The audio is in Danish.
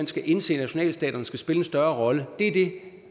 skal indse at nationalstaterne skal spille en større rolle det er det